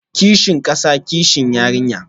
Kishin kasa, kishi yarinya